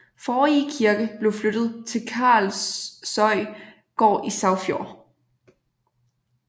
Forrige kirke blev flyttet til Karlsøy gård i Sagfjord